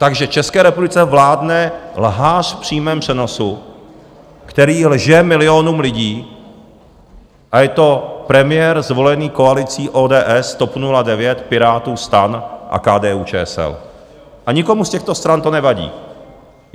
Takže České republice vládne lhář v přímém přenosu, který lže milionům lidí, a je to premiér zvolený koalicí ODS, TOP 09, Pirátů, STAN a KDU-ČSL, a nikomu z těchto stran to nevadí.